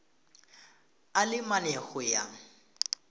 a le mane go ya